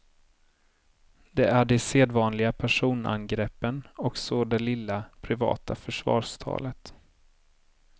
Det är de sedvanliga personangreppen och så det lilla, privata försvarstalet.